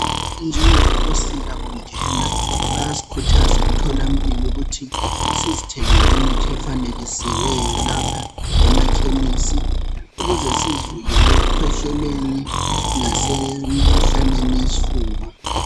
Njengobusika bungena bayasikhuthaza emtholampilo ukuthi sizithengele imithi efanekisiweyo lapha emakhemisi ukuze sizivikele ekukhwehleleni lasemkhuhlaneni yesifuba.